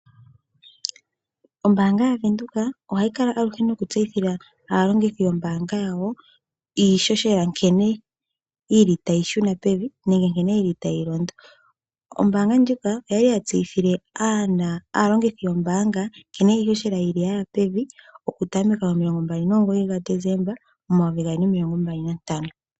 Ombaanga ya Venduka ohayi kala aluhe nokutseyithila aalongithi yombaanga yawo iishoshela uuna tayishuna pevi nenge tayilondo. Ombaanga ndjika ota yi tseyithile aayakulwa yawo nkeno iishoshela yashuna pevi okutameka momasiku 29 ga Desemba 2025.